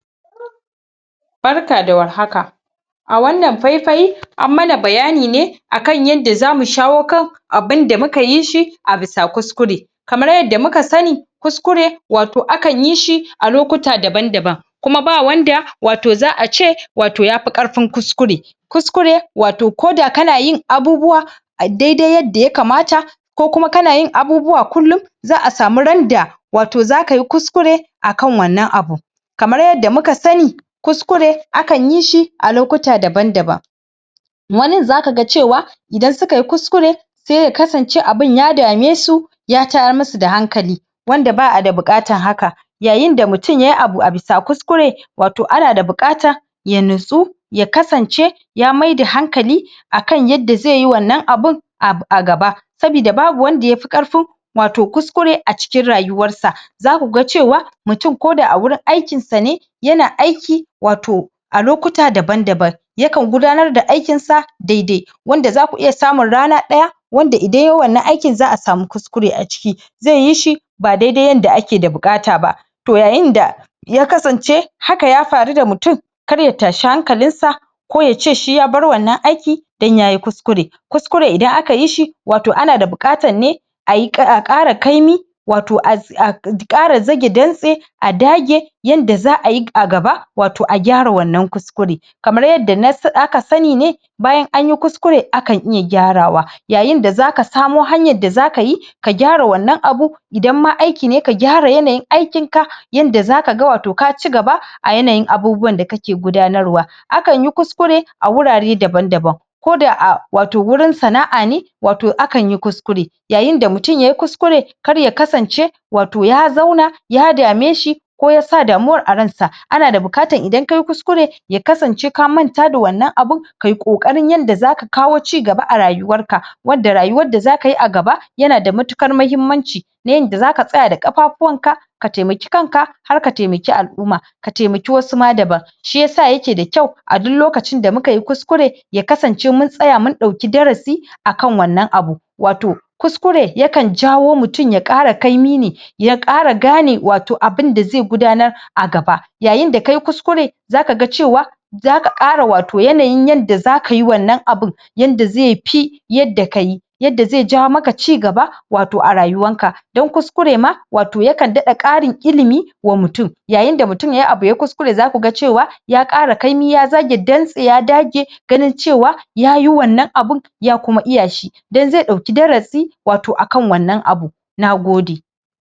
Barka da war haka a wannan pai-pai an mana bayani ne akan yanda zamu shawo kan abinda muka yi shi a bisa kuskure. Kamar yadda muka sani kuskure wato akan yi shi a lokuta daban-daban kuma ba wanda wato za'ace wato yapi ƙarfin kuskure kuskure wato ko da kana yin abubuwa a dai dai yadda ya kamata ko kuma kana yin abubuwa kullum za'a samu randa wato za kayi kuskure a kan wannan abun. Kamar yadda muka sani kuskure akan yi shi a lokuta daban-daban wanin za kaga cewa idan sukayi kuskure se ya kasance abin ya dame su ya tayar musu da hankali wanda ba'ada buƙatan haka Yayinda mutum yayi abu a bisa kuskure wato ana da buƙata ya natsu ya kasance ya maida hankali akan yadda zeyi wannan abin a a gaba sabida babu wanda yapi ƙarfin wato kuskure a cikin rayuwar sa za kuga cewa mutum ko da a wurin aikinsa ne ya na aiki wato a lokuta daban-daban yakan gudanar da aikin sa dai dai wanda za ku iya samu rana ɗaya wanda idan yay wannan aikin za'a samu kuskure a ciki zeyi shi ba dai dai yanda ake da buƙata ba. Toh yayinda ya kasance haka ya faru da mutum kar ya tashi hankalin sa ko yace shi ya bar wannan aiki dan yayi kuskure kuskure idan aka yi shi wato ana da buƙatan ne ai em a ƙara kaimi wato em a ƙara zage dantse a dage yanda za'ayi a gaba wato a gyara wannan kuskure kamar yadda na em aka sani ne bayan anyi kuskure akan iya gyarawa yayinda zaka samo hanyar da za kayi ka gyara wannan abun idan ma aiki ne ka gyara yanayin aikin ka yanda zaka ga wato ka cigaba a yanayin abubuwan da kake gudanar wa akanyi kuskure a wurare daban-daban ko da a wato wurin sana'a ne wato akanyi kuskure yayinda mutum yayi kuskure karya kasance wato ya zauna ya dame shi ko ya sa damuwar a ransa ana da buƙatan idan kayi kuskure ya kasance ka manta da wannan abin kai ƙoƙarin yanda za ka kawo ci gaba a rayuwar ka wadda rayuwar da za kayi a gaba yana da matuƙar mahimmanci na yanda zaka tsaya da kafafuwan ka ka taimaki kanka har ka taimaki al'uma ka taimaki wasu ma daban shi yasa ya ke da kyau a duk lokacin da mukayi kuskure ya kasance mun tsaya mun ɗauki darasi akan wannan abu. Wato kuskure yakan jawo mutum ya ƙara kaimi ne ya ƙara gane wato abinda ze gudanar a gaba. Yayinda kayi kuskure za kaga cewa za ka ƙara wato yanayin yanda za kayi wannan abun yanda zepi yadda kayi yadda ze jawo maka cigaba wato a rayuwan ka dan kuskure ma wato yakan ɗaɗa ƙarin ilimi wa mutum. yayinda mutum yayi abu yayi kuskure za kaga cewa ya ƙara kaimi ya zage dantse ya dage ganin cewa yayi wannan abin ya kuma iya shi dan ze ɗauki darasi wato akan wannan abu, nagode.